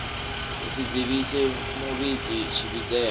u si dzivhise muvhidzi tshivhidzelwa